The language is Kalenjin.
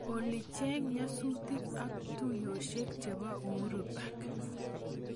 Olly cheng nyasutik ak tuyoshek chebo uhuru park